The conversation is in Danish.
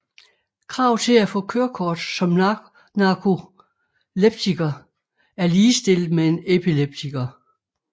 Krav til at få kørekort som narkoleptiker er ligestillet med en epileptiker